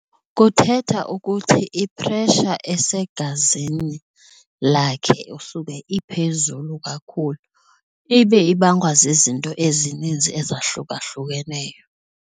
Kuthetha ukuthi i-pressure esegazini lakhe usube iphezulu kakhulu ibe ibangwa zizinto ezininzi ezahlukahlukeneyo.